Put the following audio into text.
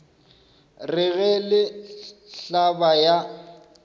re ge le hlaba ya